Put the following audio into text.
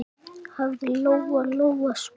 hafði Lóa-Lóa spurt.